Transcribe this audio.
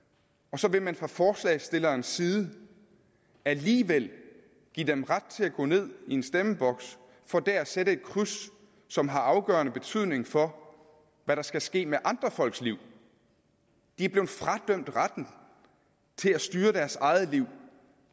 og så vil man fra forslagsstillernes side alligevel give dem ret til at gå ned i en stemmeboks for der at sætte et kryds som har afgørende betydning for hvad der skal ske med andre folks liv de er blevet fradømt retten til at styre deres eget liv